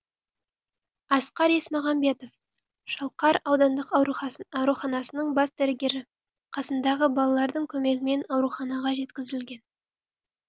асқар есмағамбетов шалқар аудандық ауруханасының бас дәрігері қасындағы балалардың көмегімен ауруханаға жеткізілген